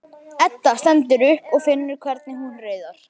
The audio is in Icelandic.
Edda stendur upp og finnur hvernig hún riðar.